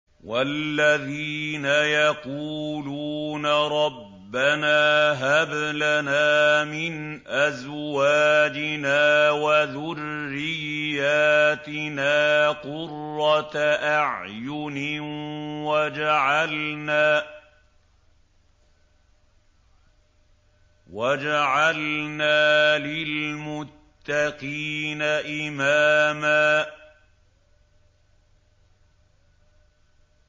وَالَّذِينَ يَقُولُونَ رَبَّنَا هَبْ لَنَا مِنْ أَزْوَاجِنَا وَذُرِّيَّاتِنَا قُرَّةَ أَعْيُنٍ وَاجْعَلْنَا لِلْمُتَّقِينَ إِمَامًا